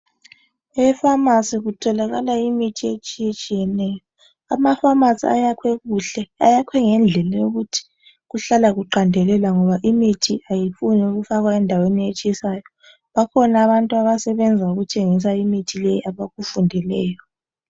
Efamasi kutholakala imithi etshiyetshiyeneyo. Amafamasi ayakhwe kuhle. Ayakhwe ngendlela yokuthi kuhlala kuqandelela ngoba imithi ayifuni ukufakwa endaweni etshisayo. Bakhona abantu abasebenza ngokuthengisa imithi leyi abakufundeleyo.